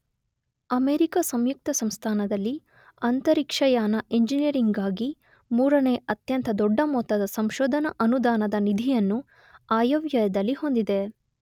America ಸಂಯುಕ್ತ ಸಂಸ್ಥಾನದಲ್ಲಿ ಅಂತರಿಕ್ಷಯಾನ ಇಂಜಿನಿಯರಿಂಗ್ ಗಾಗಿ ಮೂರನೇ ಅತ್ಯಂತ ದೊಡ್ಡ ಮೊತ್ತದ ಸಂಶೋಧನಾ ಅನುದಾನದ ನಿಧಿಯನ್ನು ಆಯವ್ಯಯದಲ್ಲಿ ಹೊಂದಿದೆ.